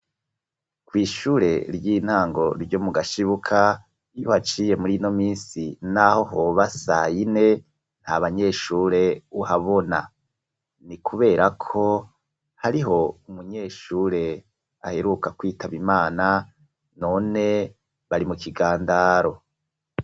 Kw'ishure ry'intango ryo mu Gashibuka iyo uhaciye mur'ino minsi, n'aho hoba sayine, nta banyeshure uhabona, ni kuberako hariho umunyeshure aheruka kwitaba Imana none bari mu kigandaro.